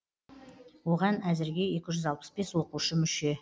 оған әзірге екі жүз алпыс бес оқушы мүше